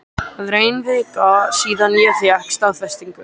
Það er ein vika síðan ég fékk staðfestingu.